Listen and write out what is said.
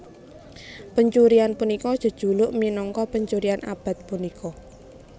Pencurian punika jejuluk minangka pencurian abad punika